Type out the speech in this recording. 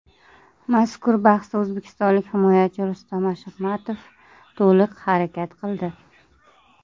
Mazkur bahsda o‘zbekistonlik himoyachi Rustam Ashurmatov to‘liq harakat qildi.